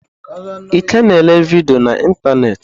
Ike na ele vidiyo na ịntanetị.